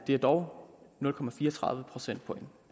er dog nul procentpoint